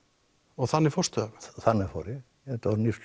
og þannig fórstu þannig fór ég þetta eru